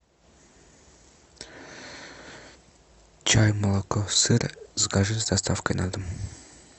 чай молоко сыр закажи с доставкой на дом